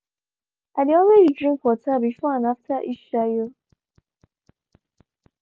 i dey always drink water before and after each shayo.